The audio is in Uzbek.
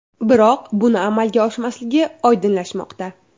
Biroq buning amalga oshmasligi oydinlashmoqda.